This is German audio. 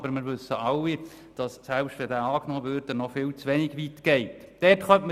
Aber wir wissen alle, dass der Antrag zu wenig weit geht, selbst wenn er angenommen würde.